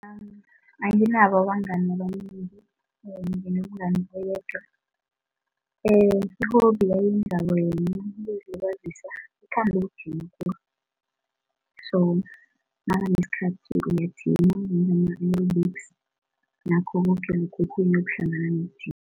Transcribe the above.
Anginabo abangani abanengi nginomngani oyedwa i-hobby ayenzako yena ukuzilibazisa uthanda ukujima khulu so nakanesikhathi uyajima nanyana ama-aerobics nakho koke lokhu okhunye okuhlangana nokujima.